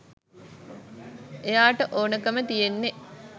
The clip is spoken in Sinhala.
එයාට ඕන කම තියෙන්නෙ